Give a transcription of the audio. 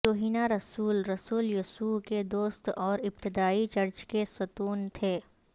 یوحنا رسول رسول یسوع کے دوست اور ابتدائی چرچ کے ستون تھے